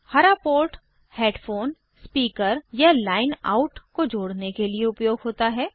हरा port headphone speaker या line out को जोड़ने के लिए उपयोग होता है